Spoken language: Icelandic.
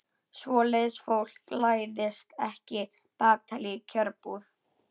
Svoleiðis fólk læðist ekki bakatil í kjörbúð.